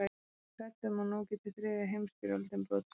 Hún er hrædd um að nú geti þriðja heimstyrjöldin brotist út.